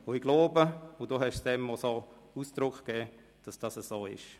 Ich glaube, und Sie haben dem auch so Ausdruck gegeben, dass dem so ist.